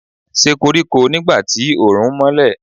Ṣe koriko nigba ti oorun nmọlẹ